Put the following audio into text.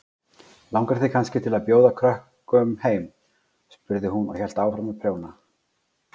Langar þig kannski til að bjóða krökkum heim? spurði hún og hélt áfram að prjóna.